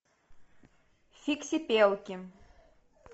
фиксипелки